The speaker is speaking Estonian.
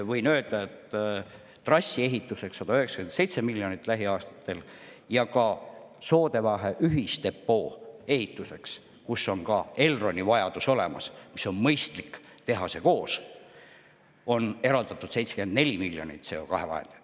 Võin öelda, et trassi ehituseks läheb lähiaastatel 197 miljonit ja ka Soodevahe ühisdepoo ehituseks, kus on ka Elronil vajadus olemas, nii et on mõistlik teha seda koos, on eraldatud 74 miljonit CO2 vahendeid.